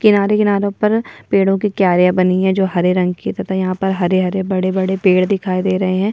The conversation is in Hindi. किनारे-किनारों पर पेड़ो की क्यारियां बनी है जो हरे रंग की है तथा यहाँ पर हरे-हरे बड़े-बड़े पेड़ दिखाई दे रहे है।